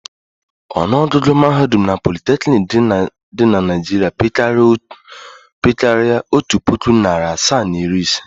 Ọnụọgụgụ mahadum na politeknik dị na Naịjirịa pekarịrị otu puku, narị asaa na iri ise.